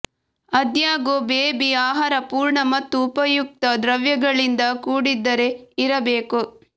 ಆದಾಗ್ಯೂ ಬೇಬಿ ಆಹಾರ ಪೂರ್ಣ ಮತ್ತು ಉಪಯುಕ್ತ ದ್ರವ್ಯಗಳಿಂದ ಕೂಡಿದ್ದರೆ ಇರಬೇಕು